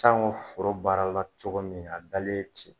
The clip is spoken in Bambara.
Sango foro baara la cogo min ye , a dalen ye ten